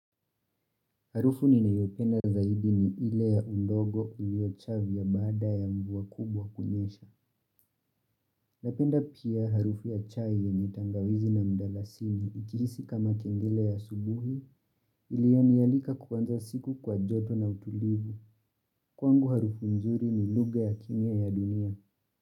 Harufu ninayopenda zaidi ni ile ya udongo uliochavya baada ya mvua kubwa kunyesha. Napenda pia harufu ya chai yenye tangawizi na mdalasini nikihisi kama kengele ya asubuhi iliyonialika kuanza siku kwa joto na utulivu. Kwangu harufu nzuri ni lugha ya kimya ya dunia.